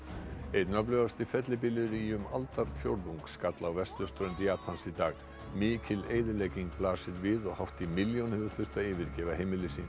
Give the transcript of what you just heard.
einn öflugasti fellibylur í um aldarfjórðung skall á vesturströnd Japans í dag mikil eyðilegging blasir við og hátt í milljón hefur þurft að yfirgefa heimili sín